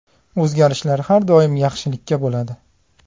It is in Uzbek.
O‘zgarishlar har doim yaxshilikka bo‘ladi.